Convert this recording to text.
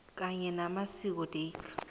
kanye namasiko dac